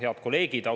Head kolleegid!